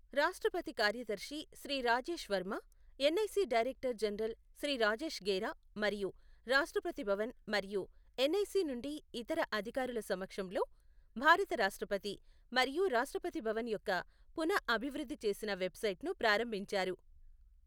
రాష్ట్రపతి కార్యదర్శి Shri Rajesh Varma, NIC director general Shri Rajesh Gera మరియు రాష్ట్రపతి భవన్ మరియు ఎన్ఐసి నుండి ఇతర అధికారుల సమక్షంలో భారత రాష్ట్రపతి మరియు రాష్ట్రపతి భవన్ యొక్క పునః అభివృద్ధి చేసిన వెబ్సైట్ను ప్రారంభించారు.